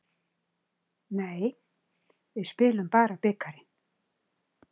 Nei, við spilum bara bikarinn.